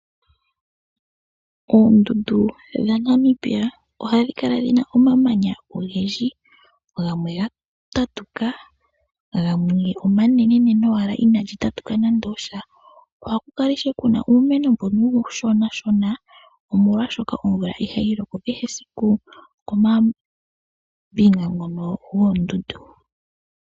Oondundu dha Namibia ohadhi kala dhina omamanya ogendji gamwe gatatuka gamwe omanenene owala ina ga tatuka nando osha , ohaku kala ishewe kuna uumeno mbono uushona shona omolwashoka omvula ihayi loko kehe esiku koombinga dhono dhoondundu.